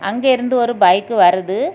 அங்கே இருந்து ஒரு பைக் வருது.